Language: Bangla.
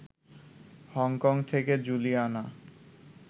হংকং থেকে জুলিয়ানা